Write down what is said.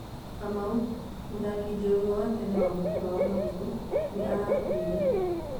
Kamau:Mũthaki njorua wa tene wa mũbira wa magũrũ nĩarakuire.